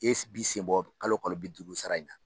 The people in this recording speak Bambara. E si b'i sen bɔ kalo kalo bi duuru sara in na.